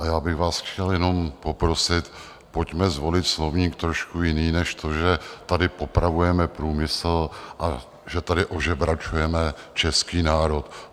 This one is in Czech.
A já bych vás chtěl jenom poprosit, pojďme zvolit slovník trošku jiný než to, že tady popravujeme průmysl a že tady ožebračujeme český národ.